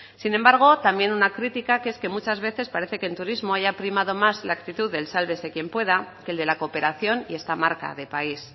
sin embargo también una crítica que es que muchas veces parece que en turismo haya primado más la actitud del sálvese quien pueda que el de la cooperación y esta marca de país